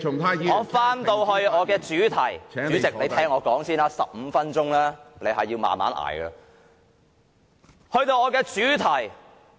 我回到我的主題上，主席，你先聽我說，這15分鐘你必須忍耐忍耐。